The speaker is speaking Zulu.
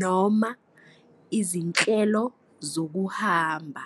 noma izinhlelo zokuhamba.